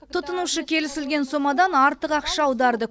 тұтынушы келісілген сомадан артық ақша аударды